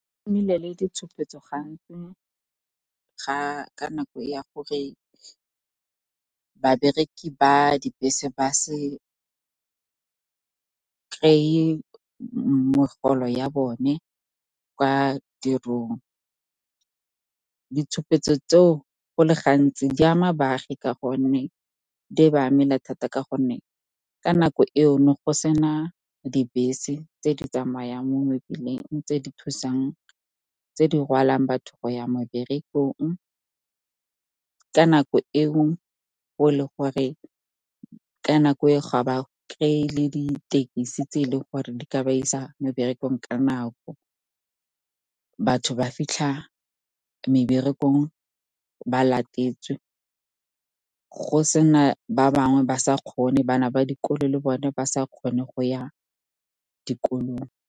Go nnile le ditshopetso gantsi ka nako ya gore babereki ba dibese ba se kry-e megolo ya bone kwa tirong. Ditshupetso tseo, go le gantsi di ba amela thata ka gonne ka nako eo, ne go sena dibese tse di tsamayang mo mebileng, tse di rwalang batho go ya meberekong. Ka nako e o ga ba kry-e le ditekisi tse e leng gore di ka ba isa meberekong ka nako. Batho ba fitlha meberekong ba latetswe, ba bangwe ba sa kgone, bana ba dikolo le bone ba sa kgone go ya dikolong.